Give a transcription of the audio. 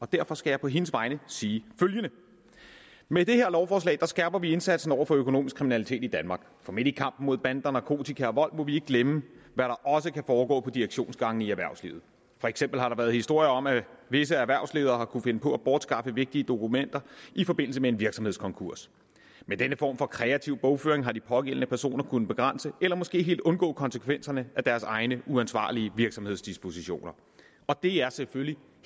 derfor skal jeg på hendes vegne sige følgende med det her lovforslag skærper vi indsatsen over for økonomisk kriminalitet i danmark for midt i kampen mod bander narkotika og vold må vi ikke glemme hvad der også kan foregå på direktionsgangene i erhvervslivet for eksempel har der været historier om at visse erhvervsledere har kunnet finde på at bortskaffe vigtige dokumenter i forbindelse med en virksomhedskonkurs med denne form for kreativ bogføring har de pågældende personer kunnet begrænse eller måske helt undgå konsekvenserne af deres egne uansvarlige virksomhedsdispositioner og det er selvfølgelig